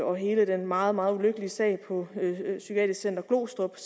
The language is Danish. og hele den meget meget ulykkelige sag på psykiatrisk center glostrup